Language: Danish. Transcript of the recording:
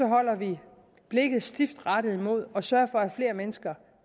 holder vi blikket stift rettet mod målet at sørge for at flere mennesker